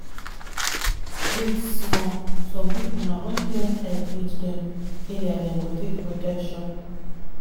wait small some people na only when help reach dem area dem go take protection.